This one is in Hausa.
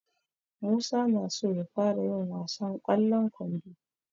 Musa na so ya fara yin wasan ƙwallon kwando.